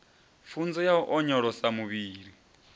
pfunzo ya u onyolosa muvhili